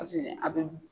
Paseke a bɛ